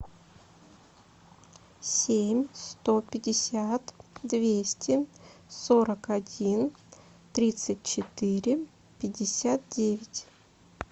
семь сто пятьдесят двести сорок один тридцать четыре пятьдесят девять